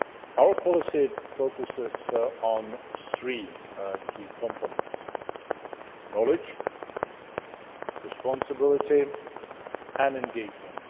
Our policy focuses on three key components knowledge, responsibility and engagement.